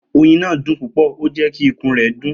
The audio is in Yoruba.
Oyin naa dun pupọ o jẹ ki ikun rẹ dun